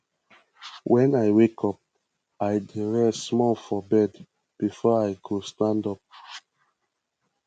wen i wake up i dey rest small for bed before i go stand up